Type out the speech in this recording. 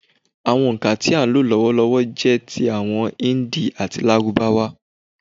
Àwọn òǹkà tí à ń lò lọ́wọ́lọ́wọ́ jẹ́ ti àwọn Hindi àti Lárúbáwá.